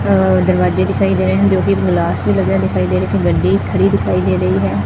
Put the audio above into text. ਆ ਦਰਵਾਜੇ ਦਿਖਾਈ ਦੇ ਰਹੇ ਹੈਂ ਤੇ ਉਹਤੇ ਗਲਾਸ ਵੀ ਲੱਗਿਆ ਦਿਖਾਈ ਦੇ ਰਿਹਾ ਤੇ ਗੱਡੀ ਇੱਕ ਖੜੀ ਦਿਖਾਈ ਦੇ ਰਹੀ ਹੈ।